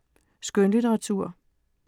Skønlitteratur